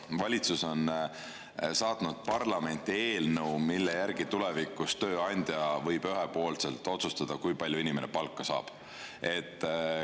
Valitsus on saatnud parlamenti eelnõu, mille järgi tulevikus tööandja võib ühepoolselt otsustada, kui palju inimene palka saab.